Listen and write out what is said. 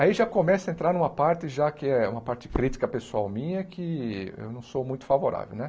Aí já começa a entrar uma parte, já que é uma parte crítica pessoal minha, que eu não sou muito favorável, né?